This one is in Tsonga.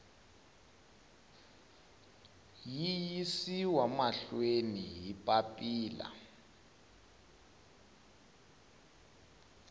yi yisiwa mahlweni hi papila